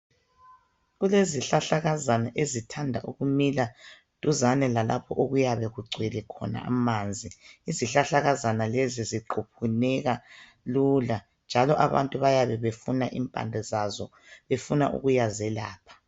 Kulezihlahlakazana ezithanda ukumila duzane lalapho okuyabe kugcwele khona amanzi. Izihlahlakazana lezi ziquphuneka lula njalo abantu bayabe befuna impande zazo befuna ukuyazelapha.